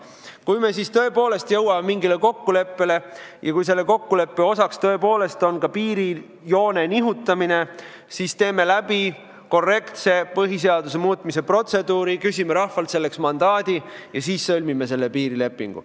Kui me siis tõepoolest jõuame mingile kokkuleppele ja kui selle kokkuleppe osaks tõepoolest on ka piirijoone nihutamine, siis teeme läbi korrektse põhiseaduse muutmise protseduuri, küsime rahvalt selleks mandaadi ja siis sõlmime selle piirilepingu.